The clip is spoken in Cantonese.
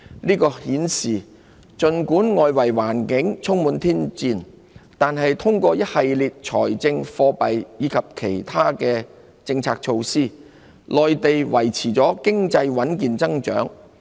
這顯示儘管外圍環境充滿挑戰，但通過一系列財政、貨幣及其他政策措施，內地經濟得以維持穩健增長。